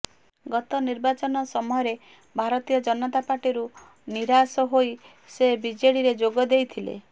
ଗତ ନିର୍ବାଚନ ସମୟରେ ଭାରତୀୟ ଜନତା ପାର୍ଟିରୁ ନିରାଶ ହୋଇ ସେ ବିଜେଡିରେ ଯୋଗ ଦେଇଥିଲେ